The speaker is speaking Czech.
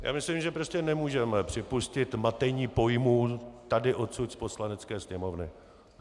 Já myslím, že prostě nemůžeme připustit matení pojmů tady odsud z Poslanecké sněmovny.